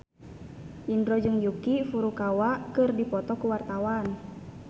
Indro jeung Yuki Furukawa keur dipoto ku wartawan